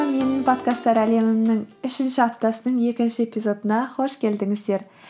менің подкасттар әлемімнің үшінші аптасының екінші эпизодына қош келдіңіздер